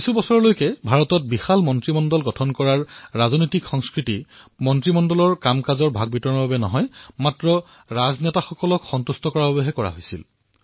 বহু বছৰলৈ ভাৰতত বৃহৎ মন্ত্ৰীমণ্ডল গঠন কৰাৰ ৰাজনৈতিক সংস্কৃতিত বৃহৎ বৃহৎ মন্ত্ৰীমণ্ডলীয় কাৰ্য বিতৰণৰ বাবে হয় ৰাজনেতাসকলক সন্তোষিত কৰাৰ বাবে বুলি কোৱা হৈছিল